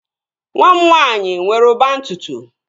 Nwa m nwaanyị nwere ụba ntutu